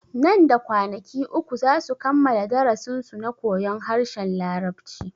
Nan da kwanaki uku zasu kammala darasin su na koyon harshen larabci